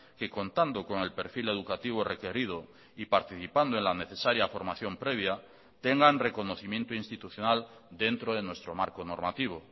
que contando con el perfil educativo requerido y participando en la necesaria formación previa tengan reconocimiento institucional dentro de nuestro marco normativo